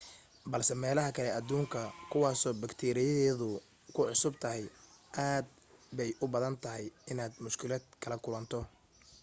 balse meelaha kale adduunka kuwaasoo batkeeriyadeedu kugu cusub tahay aad bay u badan tahay inaad mushkilad kala kulanto